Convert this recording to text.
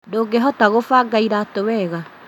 Ndũngĩhota gũbanga iratũ wega